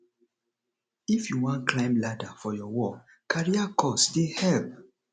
if you wan climb ladder for your work career course dey help